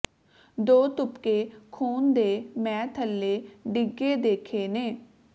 ਦੋ ਤੁਪਕੇ ਖੂਨ ਦੇ ਮੈਂ ਥੱਲੇ ਡਿੱਗੇ ਦੇਖੇ ਨੇ